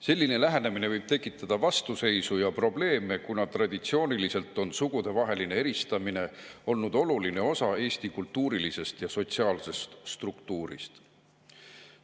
Selline lähenemine võib tekitada vastuseisu ja probleeme, kuna traditsiooniliselt on sugudevaheline eristamine olnud oluline osa Eesti kultuurilisest ja sotsiaalsest struktuurist.